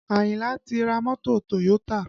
Ayinla ti ra mọ́tò Toyota